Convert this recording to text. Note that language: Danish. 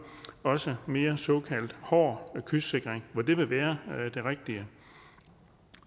også mere såkaldt hård kystsikring hvor det vil være det rigtige